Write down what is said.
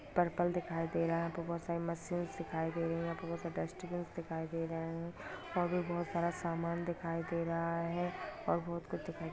purple दिखाई दे रहा है बहुत सारी मशीन दिखाई दे रही है बहुत से डस्टबिन दिखाई दे रहे है और भी बहुत सारा सामान दिखाई दे रहा है और बहुत कुछ दिखाई -----